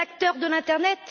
Les acteurs de l'internet?